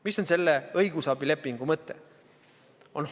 Mis on selle õigusabilepingu mõte?